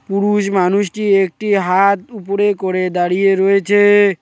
পুরুষ মানুষটি একটি হাত উপরে করে দাঁড়িয়ে রয়েছে।